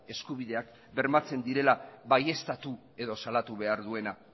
eskubideak bermatzen direla baieztatu edo salatu behar duena